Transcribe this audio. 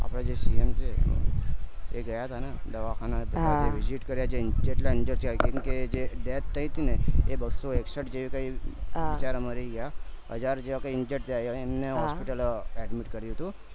આપદા જે CM છે એ ગયા હતા ને દવાખાને visit કર્યા જે જેટલા injured કેમ કે જે death થય તી ને એ બસો એકસઠ જેહતા બિચારા મારી ગયા હજાર જેવા injured થયા એમને hospital admit કર્યું હતું